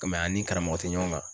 nga an ni karamɔgɔ tɛ ɲɔgɔn kan